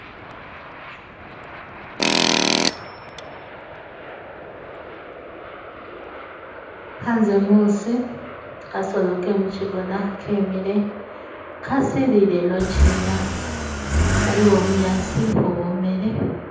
Hanze muusi , kasolo ke mukigona kemile kasilile eno ki haliwo bunyasi ubwomele.